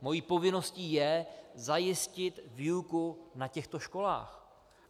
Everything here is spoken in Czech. Mou povinností je zajistit výuku na těchto školách.